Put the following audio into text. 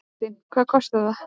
Kristín: Hvað kostar það?